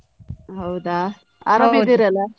ಹೌದಾ .